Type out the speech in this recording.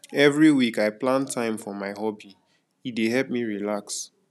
every week i plan time for my hobby e dey help me relax